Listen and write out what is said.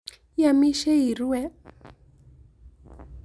Iamisheii irue?